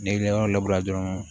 N'i ka yɔrɔ labure dɔrɔn